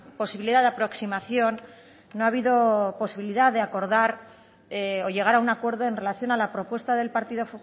posibilidad de aproximación no ha habido posibilidad de acordar o llegar a un acuerdo en relación a la propuesta del partido